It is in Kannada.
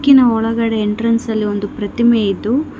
ಒಳಗಡೆ ಎಂಟ್ರನ್ಸ್ ಅಲ್ಲಿ ಒಂದು ಪ್ರತಿಮೆ ಇದ್ದು--